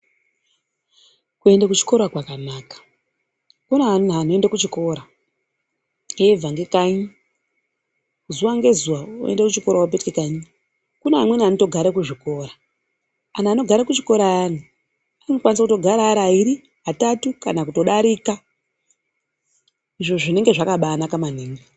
Kuenda kuchikora kwakanaka kune ana anoende kuchikora eibva ngelkanyi zuva ngezuva oenda kuchikora vobeka kanyi. Kune amweni anotogare kuzvikora antu anogara kuchikora ayani anokwanise kutogara ari airi atatu kana kutodarika. Izvo zvinenge zvakabanaka maningi.